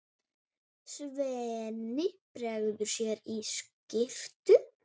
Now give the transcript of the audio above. Svenni bregður sér í skyrtu.